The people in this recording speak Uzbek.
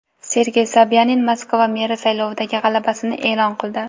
Sergey Sobyanin Moskva meri saylovidagi g‘alabasini e’lon qildi.